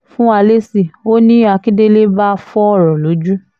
fún wa lésì o ní akíndélé bá fọ́ ọ̀rọ̀ lójú